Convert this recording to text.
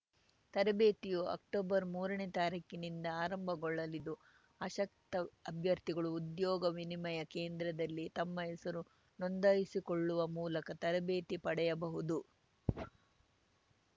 ತರಬೇತಿಯು ಅಕ್ಟೊಬರ್ಮೂರನೇ ತಾರೀಖಿನಿಂದ ಆರಂಭಗೊಳ್ಳಲಿದ್ದು ಆಸಕ್ತ ಅಭ್ಯರ್ಥಿಗಳು ಉದ್ಯೋಗ ವಿನಿಮಯ ಕೇಂದ್ರದಲ್ಲಿ ತಮ್ಮ ಹೆಸರನ್ನು ನೋಂದಾಯಿಸಿಕೊಳ್ಳುವ ಮೂಲಕ ತರಬೇತಿ ಪಡೆಯಬಹುದು